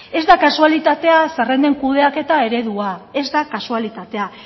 ez da kasualitatea zerrenden kudeaketa eredua ez da kasualitatea